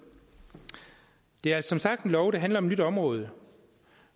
det er som sagt en lov der handler om et nyt område